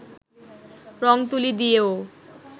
রং-তুলি দিয়েও